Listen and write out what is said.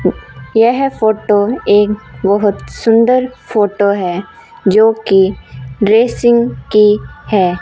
यह फोटो एक बहुत सुंदर फोटो है जो कि ड्रेसिंग की है।